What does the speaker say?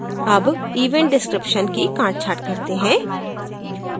अब event description की कांटछाँट करते हैं